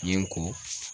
Yen ko